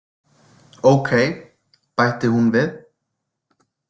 Ókei, bætti hún við.